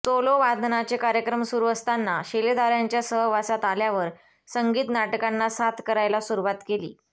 solo वादनाचे कार्यक्रम सुरू असताना शिलेदारांच्या सहवासात आल्यावर संगीत नाटकांना साथ करायला सुरुवात केली